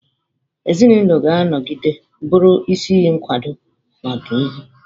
Ezinụlọ ga-anọgide bụrụ isi iyi nkwado n'ọdịnihu.